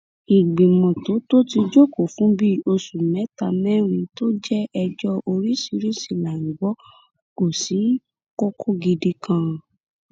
ìgbìmọ tó tó ti jókòó fún bíi oṣù mẹtàmẹrin tó jẹ ẹjọ oríṣiríṣii là ń gbọ kò sí kókó gidi kan